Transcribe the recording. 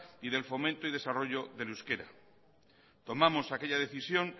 y del fomento y desarrollo del euskera tomamos aquella decisión